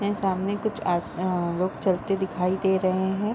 वे ये सामने कुछ आर आ लोग चलते दिखाई दे रहे हैं।